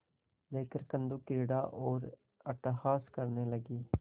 लेकर कंदुकक्रीड़ा और अट्टहास करने लगी